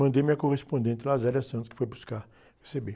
Mandei minha correspondente, lá a, que foi buscar, receber.